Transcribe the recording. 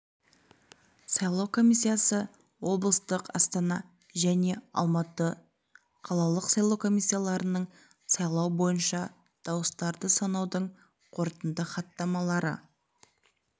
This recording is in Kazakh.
сайлау комиссиясы облыстық астана және алматы қалалық сайлау комиссияларының сайлау бойынша дауыстарды санаудың қорытынды хаттамалары